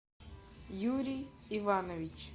юрий иванович